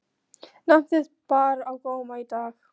Nafn þitt bar á góma í dag.